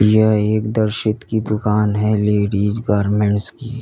यह एक दर्शित की दुकान है लेडिस गारमेंट्स की।